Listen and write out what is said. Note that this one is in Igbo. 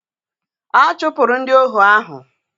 A chụpụrụ ndị ohu ahụ.